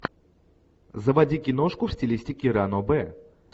заводи киношку в стилистике ранобэ